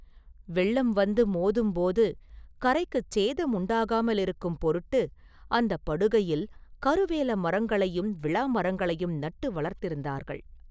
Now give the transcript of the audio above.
வெள்ளம் வந்து மோதும்போது கரைக்குச் சேதம் உண்டாகாமலிருக்கும் பொருட்டு அந்தப் படுகையில் கருவேல மரங்களையும் விளாமரங்களையும் நட்டு வளர்த்திருந்தார்கள்.